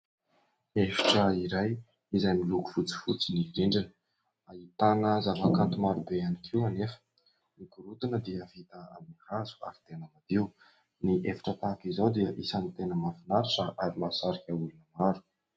Efitra iray izay miloko fotsifotsy ny rindrina. Ahitana zavakanto maro be ihany koa anefa. Ny gorodona dia vita amin'ny hazo, ary tena madio. Ny efitra tahaka izao dia isany tena mahafinaritra sady mahasarika olona maro.